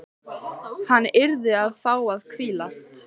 Hann yrði að fá að hvílast.